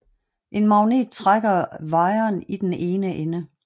En magnet strækker wiren i den ene ende